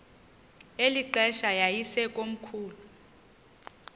eli xesha yayisekomkhulu